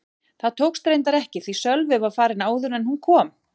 Það tókst reyndar ekki því Sölvi var farinn áður en hún kom.